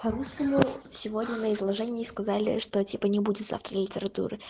по русскому сегодня на изложении сказали что типа не будет завтра литературы